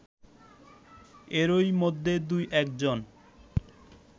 এরই মধ্যে দুএকজন